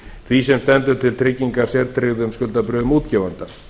því sem stendur til tryggingar sértryggðum skuldabréfum útgefanda